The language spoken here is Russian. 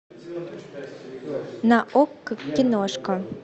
на окко киношка